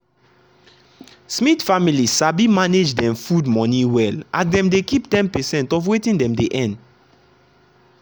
smith family sabi manage dem food money well as dem dey keep ten percent of wetin dem dey earn.